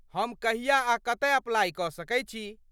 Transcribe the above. हम कहिया आ कतय अप्लाइ कऽ सकैत छी?